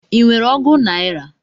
I nwere ọgu naira?